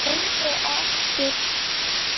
Lengi á eftir hafði honum verið illa við allar lyftur.